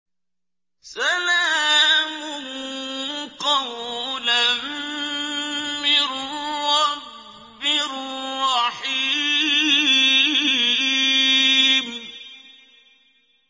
سَلَامٌ قَوْلًا مِّن رَّبٍّ رَّحِيمٍ